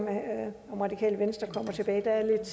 radikale venstre kommer tilbage